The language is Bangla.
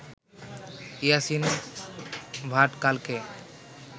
ইয়াসিন ভাটকালকে